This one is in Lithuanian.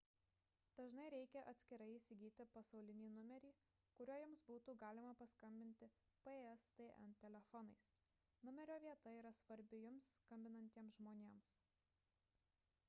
dažnai reikia atskirai įsigyti pasaulinį numerį kuriuo jums būtų galima paskambinti pstn telefonais numerio vieta yra svarbi jums skambinantiems žmonėms